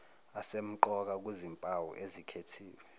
asemqoka kuzimpawu ezikhethiwe